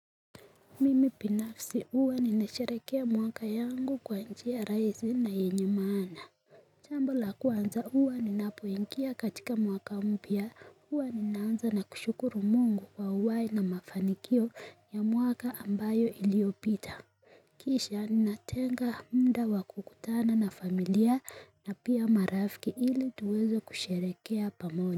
Mimi binafsi huwa ninasherehekea mwaka yangu kwa njia rahisi na yenye maana jambo la kwanza huwa ninapoingia katika mwaka mpya huwa ninaanza na kushukuru mungu kwa uhai na mafanikio ya mwaka ambayo iliopita Kisha ni natenga muda wa kukutana na familia na pia marafiki ili tuweze kusharehekea pamoja.